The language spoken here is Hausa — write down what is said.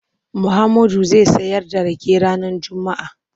Muhammadu zai sayar da rake ranar Juma'a.